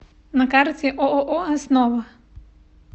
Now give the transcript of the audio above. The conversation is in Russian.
на карте ооо основа